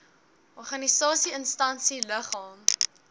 organisasie instansie liggaam